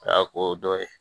A y'a ko dɔ ye